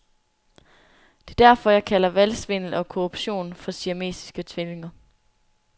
Det er derfor, jeg kalder valgsvindel og korruption for siamesiske tvillinger.